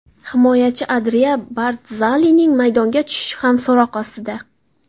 Himoyachi Andrea Bardzalining maydonga tushishi ham so‘roq ostida.